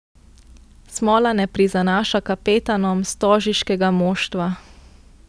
Smola ne prizanaša kapetanom stožiškega moštva.